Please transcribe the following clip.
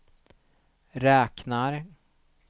räknar